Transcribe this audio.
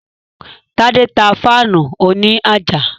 Tádé tá fáànù òní àjà